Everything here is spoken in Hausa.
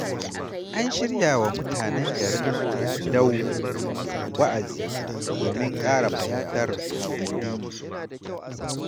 An shirya wa mutanen Garin Dau wa'azi domin ƙara fahimtar addini.